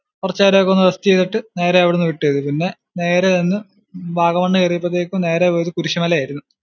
കുറച്ചു നേരം ഒക്കെ ഒന്ന് rest ചെയ്തിട്ട് നേരെ അവിടുന്ന് വിട്ടു ചെയ്തു, പിന്നെ നേരെ ചെന്ന് വാഗമണ്‍ കേറിയപ്പോഴത്തേക്കും നേരെ പോയത് കുരിസ്സുമല ആരുന്നു.